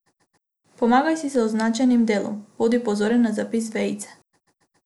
Pomagaj si z označenim delom, bodi pozoren na zapis vejice.